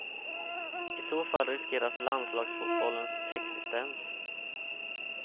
I så fall riskeras landslagsfotbollens existens.